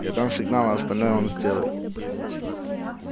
я дам сигнал а остальное он сделает